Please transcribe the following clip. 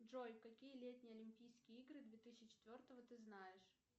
джой какие летние олимпийские игры две тысячи четвертого ты знаешь